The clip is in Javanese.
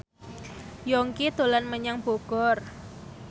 Yongki dolan menyang Bogor